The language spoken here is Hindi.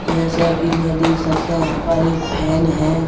जैसे कि मैं देख सकते हैं यहाँ पर एक फैन है।